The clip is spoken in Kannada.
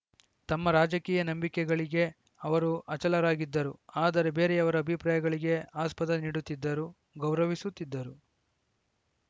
ತಮ್ಮ ರಾಜಕೀಯ ನಂಬಿಕೆಗಳಿಗೆ ಅವರು ಅಚಲರಾಗಿದ್ದರು ಆದರೆ ಬೇರೆಯವರ ಅಭಿಪ್ರಾಯಗಳಿಗೆ ಆಸ್ಪದ ನೀಡುತ್ತಿದ್ದರು ಗೌರವಿಸುತ್ತಿದ್ದರು